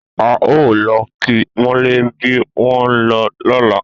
A o lo ki mọlẹ bí wọn lọla